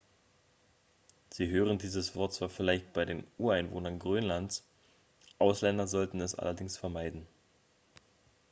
sie hören dieses wort zwar vielleicht bei den ureinwohnern grönlands ausländer sollten es allerdings vermeiden